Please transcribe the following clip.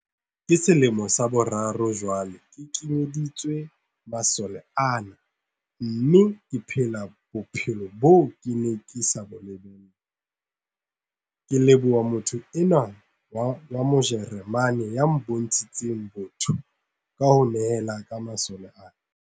Ke selemo sa boraro jwale ke kenyeditswe masole ana mme ke phela bophelo boo ke neng ke sa bo lebella, ke leboha motho enwa wa Mo jeremane ya bontshitseng botho ka ho nehela ka masole ana.